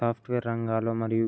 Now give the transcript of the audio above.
software రంగాలలో మరియు --